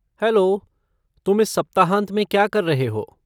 Hello, तुम इस सप्ताहांत में क्या कर रहे हो?